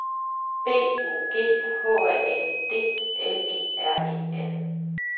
B O G H A N D L E R E N